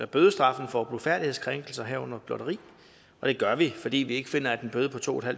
bødestraffen for blufærdighedskrænkelser herunder blotteri og det gør vi fordi vi ikke finder at en bøde på to